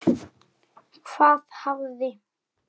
Hvað hafði